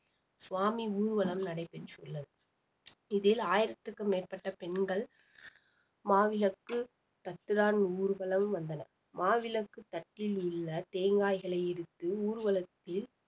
சுவாமி ஊர்வலம் நடைபெற்றுள்ளது இதில் ஆயிரத்திற்கும் மேற்பட்ட பெண்கள் மாவிளக்கு தட்டுடான் ஊர்வலம் வந்தன மாவிளக்கு தட்டில் உள்ள தேங்காய்களை எடுத்து ஊர்வலத்தில்